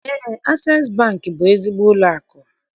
Eé, Asees Bankị bụ ezigbo ụlọakụ.